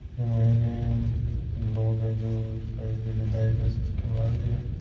Mine लोग जो विदाई को सिस्टम लागरो है।